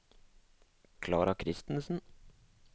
Klara Christensen